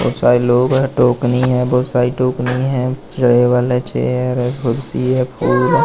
बहोत सारे लोग है टोकनी है बहोत सारी टोकनी है रहे वाला चेयर है कुर्सी है --